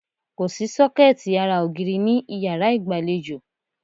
Kòsí sọ́kẹ̀tì ara ògiri ní ìyárá ìgbàlejò.